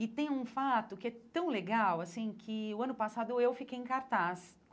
E tem um fato que é tão legal assim que, no ano passado, eu fiquei em cartaz.